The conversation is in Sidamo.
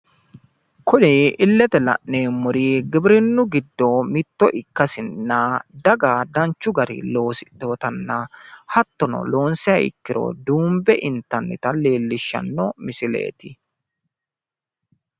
Kuri illete la'neemmori giwirinnu giddo mitto ikkasinna daga danchu garinni loosidhinotanna, hattono loonssiha ikkiro duunbe intanita leellishshanno misileeti.